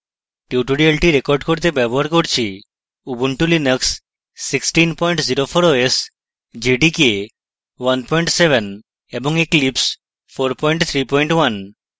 tutorial record করতে ব্যবহার করছি: ubuntu linux 1604 os jdk 17 এবং eclipse 431